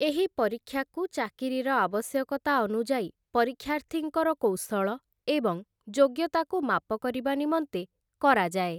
ଏହି ପରୀକ୍ଷାକୁ ଚାକିରିର ଆବଶ୍ୟକତା ଅନୁଯାୟୀ ପରୀକ୍ଷାର୍ଥୀଙ୍କର କୌଶଳ ଏବଂ ଯୋଗ୍ୟତାକୁ ମାପ କରିବା ନିମନ୍ତେ କରାଯାଏ ।